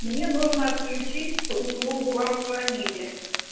мне нужно отключить услугу вам звонили